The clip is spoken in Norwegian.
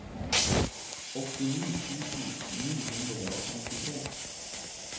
åttini tusen ni hundre og femtitre